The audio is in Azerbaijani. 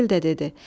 Vəkil də dedi: